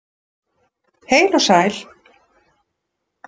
Heil og sæl!